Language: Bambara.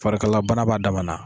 Farikalayabana b'a dama na.